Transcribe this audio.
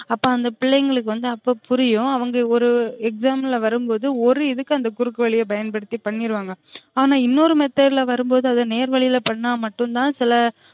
அப்ப அந்த பிள்ளைங்களுக்கு வந்து அப்ப புரியும் அவுங்க ஒரு exam ல வரும் போது ஒரு இதுக்கு அந்த குறுக்கு வழிய பயன்படுத்தி பண்ணிருவாங்க ஆன இன்னொரு method ல வரும்போது அத நேர்வழில பண்ண மட்டும் தான் சில